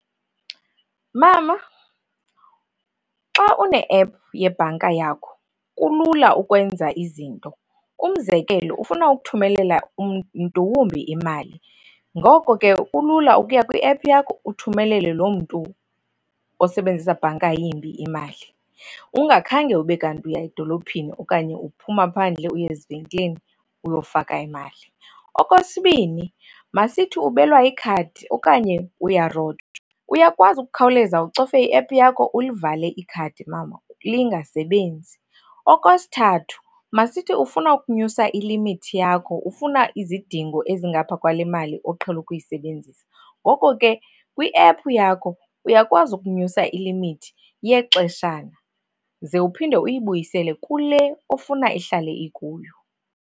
Mama, xa une-ephu yebhanka yakho kulula ukwenza izinto. Umzekelo, ufuna ukuthumelela mntu wumbi imali ngoko ke kulula ukuya kwiephu yakho uthumelele loo mntu osebenzisa bhanka yimbi imali ungakhange ube kanti uya edolophini okanye uphuma phandle uye ezivenkileni uyofaka imali. Okwesibini, masithi ubelwa ikhadi okanye uyarojwa, uyakwazi ukukhawuleza ucofe iephu yakho ulivale ikhadi mama lingasebenzi. Okwesithathu, masithi ufuna ukunyusa ilimithi yakho, ufuna izidingo ezingapha kwale mali oqhele ukuyisebenzisa, ngoko ke kwiephu yakho uyakwazi ukunyusa ilimithi yexeshana ze uphinde uyibuyisele kule ofuna ihlale ikuyo.